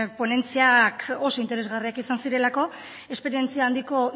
ponentziak oso interesgarriak izan zirelako esperientzia handiko